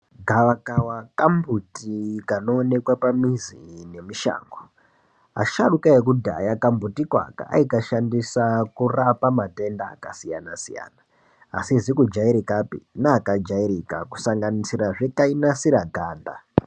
Gavakava kambuti kanoonekwa pamizi ngemushango. Asharuka ekudhaya kambutiko aka aikashandisa kurapa matenda akasiyana-siyana, asizi kujairikapi neakajairika, kusanganisirazve kainasira ganda.